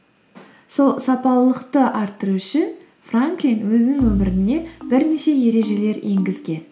сол сапалылықты арттыру үшін франклин өзінің өміріне бірнеше ережелер енгізген